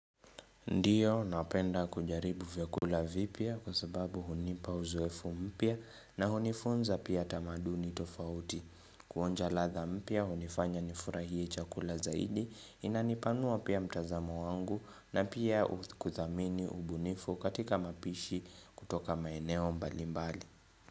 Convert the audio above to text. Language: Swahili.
Ndio, napenda kujaribu vyakula vipya kwa sababu hunipa uzoefu mpya na hunifunza pia tamaduni tofauti. Kuonja ladha mpya, hunifanya nifurahie chakula zaidi, inanipanua pia mtazamo wangu na pia kuthamini ubunifu katika mapishi kutoka maeneo mbalimbali.